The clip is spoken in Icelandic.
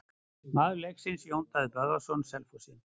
Maður leiksins: Jón Daði Böðvarsson Selfossi.